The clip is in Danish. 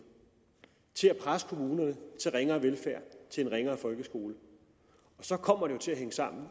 til at presse kommunerne til ringere velfærd til en ringere folkeskole så kommer det til hænge sammen